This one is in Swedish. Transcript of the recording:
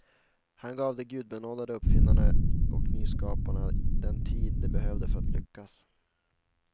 Han gav de gudabenådade uppfinnarna och nyskaparna den tid de behövde för att lyckas.